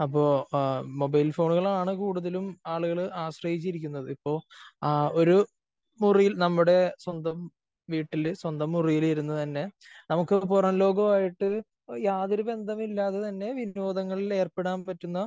അപ്പോ ആ മൊബൈൽ ഫോണുകളാണ് കൂടുതലും ആളുകള് ആശ്രയിച്ചിരിക്കുന്നത്. ഇപ്പോ ഒരു മുറി നമ്മുടെ സ്വന്തം വീട്ടില് സ്വന്തം മുറിയില് ഇരുന്ന് തന്നെ നമുക്ക് പുറം ലോകവുമായിട്ട് യാതൊരു ബന്ധവും ഇല്ലാതെ തന്നെ വിനോദങ്ങളിൽ ഏർപ്പെടാൻ പറ്റുന്ന